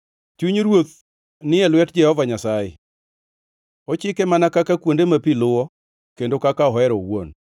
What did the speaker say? Chuny ruoth ni e lwet Jehova Nyasaye, ochike mana kaka kuonde ma pi luwo kendo kaka ohero owuon.